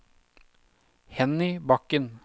Henny Bakken